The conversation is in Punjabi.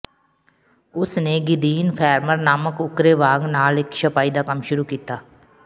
ਉਸ ਨੇ ਗਿਦੀਨ ਫੈਰਮਰ ਨਾਮਕ ਉੱਕਰੇ ਵਾਗ ਨਾਲ ਇਕ ਛਪਾਈ ਦਾ ਕੰਮ ਸ਼ੁਰੂ ਕੀਤਾ